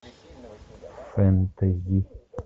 фэнтези